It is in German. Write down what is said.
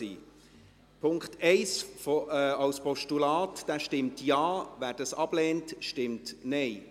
Wer den Punkt 1 als Postulat annehmen will, stimmt Ja, wer dies ablehnt, stimmt Nein.